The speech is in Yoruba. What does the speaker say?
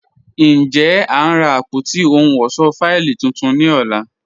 Njẹ́, a n rá àpótí òhùn ọṣọ́ fáìlì tuntun ní ọ̀là?